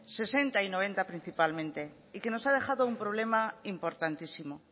sesenta y noventa principalmente y que nos ha dejado un problema importantísimo